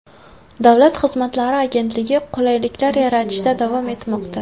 Davlat xizmatlari agentligi qulayliklar yaratishda davom etmoqda.